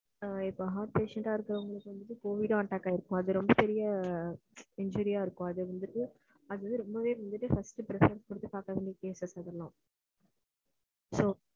ஆ இப்போ heart patient அ இருக்குறவுங்களுக்கு covid attack ஆகி இருக்கும். அது ரெம்ப பெரிய,